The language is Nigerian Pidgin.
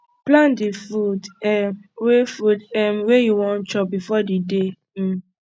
plan di food um wey food um wey you wan chop before di day um